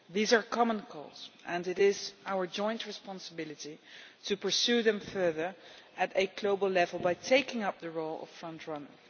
These are common goals and it is our joint responsibility to pursue them further at a global level by taking up the role of front runner.